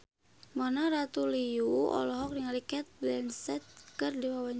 Mona Ratuliu olohok ningali Cate Blanchett keur diwawancara